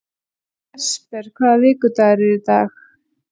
Jesper, hvaða vikudagur er í dag?